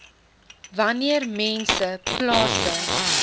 wanneer mense plase